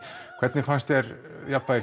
hvernig fannst þér jafnvægi